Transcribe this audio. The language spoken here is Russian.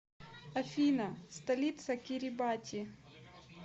афина столица кирибати